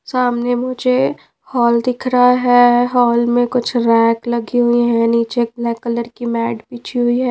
सामने मुझे हॉल दिख रहा है हॉल में कुछ रैक लगी हुई हैं नीचे ब्लैक कलर की मैड बिजी हुई है।